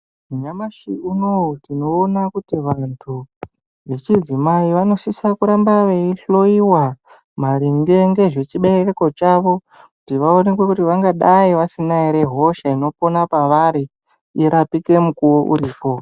Nyamashi unowu tinoona kuti vantu vechidzimai vanosisa kuramba veihloiwa maringe nezvechibereko Chavo kuti vaonekwe kuti vangadai vasina ere hosha inopona pavari irapike mukuwo uripo.